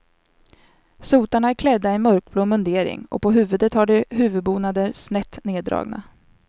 Sotarna är klädda i en mörkblå mundering och på huvudet har de huvudbonader snett nerdragna.